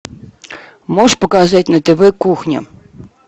можешь показать на тв кухня